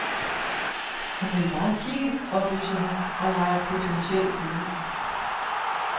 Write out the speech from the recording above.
Hun vil bare kigge, oplyser hun og leger potentiel kunde.